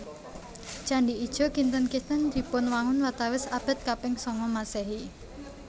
Candhi Ijo kinten kinten dipunwangun watawis abad kaping sanga Maséhi